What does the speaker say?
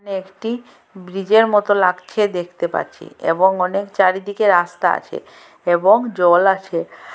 একটি ব্রিজের মত লাগছে দেখতে পাচ্ছি এবং অনেক চারিদিকে রাস্তা আছে এবং জল আছে।